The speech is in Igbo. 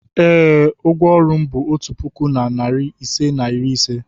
ee, ụgwọ ọrụ m bụ otu puku na narị ise na iri ise.